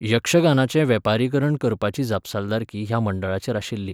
यक्षगानाचें वेपारीकरण करपाची जापसालदारकी ह्या मंडळांचेर आशिल्ली.